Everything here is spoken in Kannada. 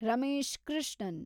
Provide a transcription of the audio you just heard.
ರಮೇಶ್ ಕೃಷ್ಣನ್